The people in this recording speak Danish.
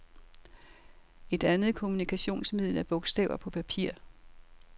Et andet kommunikationsmiddel er bogstaver på papir.